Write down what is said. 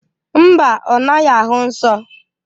Mba, ọ naghị ahụ nsọ.